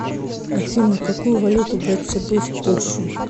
афина какую валюту брать с собой в польшу